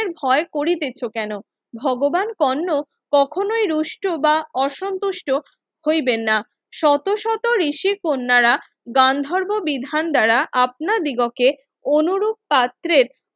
ভয় করিতেছ কেন ভগবান কর্ণ কখনোই রুষ্ট বা অসন্তুষ্ট হইবেন না শত শত ঋষি কন্যারা গান্ধর্ব বিধান দ্বারা আপনা দিগকে অনুরূপ পাত্রের